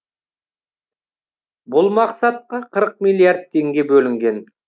бұл мақсатқа қырық миллиард теңге бөлінген